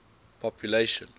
population